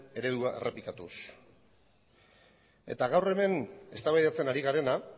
eredua errepikatuz eta gaur hemen eztabaidatzen ari garena